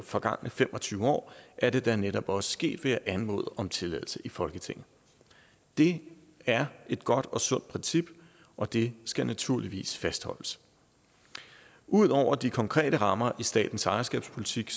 forgangne fem og tyve år er det da netop også sket ved at anmode om tilladelse i folketinget det er et godt og sundt princip og det skal naturligvis fastholdes ud over de konkrete rammer i statens ejerskabspolitik